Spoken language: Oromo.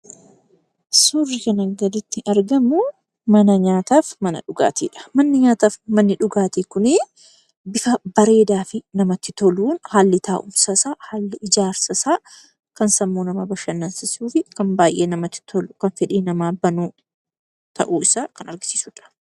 Suurri kanaan gaditti argamu suuraa mana nyaataa fi mana dhugaatiidha. Manni nyaataa fi manni dhugaatii kunii bifa bareedaa fi bifa namatti toluun haalli taa'umsa isaa, haalli ijaarsa isaa kan nama bashannansiisuu fi kan baay'ee namatti tolu kan fedhii namaa banu ta'uusaa kan agarsiisudha.